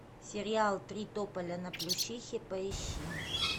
сериал три тополя на плющихе поищи